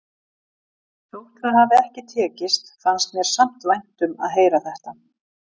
Þótt það hafi ekki tekist fannst mér samt vænt um að heyra þetta.